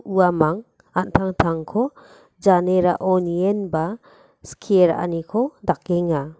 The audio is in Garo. uamang an·tangtangko janerao nienba skie ra·aniko dakenga.